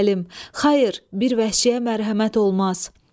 Xeyr, bir vəhşiyə mərhəmət olmaz.